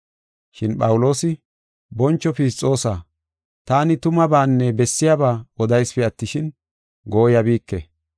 Shin Phawuloosi, “Boncho Fisxoosa, taani tumabaanne bessiyaba odaysipe attishin, gooyabike.